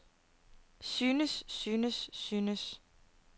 synes synes synes